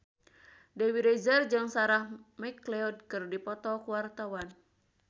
Dewi Rezer jeung Sarah McLeod keur dipoto ku wartawan